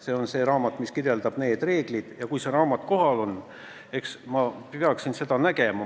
See on see raamat, mis kirjeldab neid reegleid, ja kui see raamat on kohal, eks ma siis peaksin seda nägema.